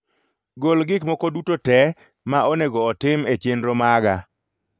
Gol gik moko duto te ma onego otim e chenro maga